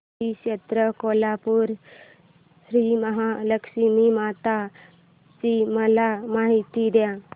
श्री क्षेत्र कोल्हापूर श्रीमहालक्ष्मी माता ची मला माहिती दे